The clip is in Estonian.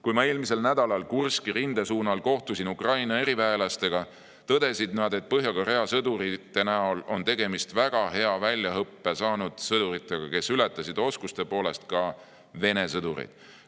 Kui ma eelmisel nädalal Kurski rinde lähedal kohtusin Ukraina eriväelastega, tõdesid nad, et Põhja‑Korea sõdurite näol oli tegemist väga hea väljaõppe saanud sõduritega, kes ületasid oskuste poolest ka Vene sõdureid.